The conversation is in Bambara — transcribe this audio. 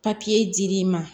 dir'i ma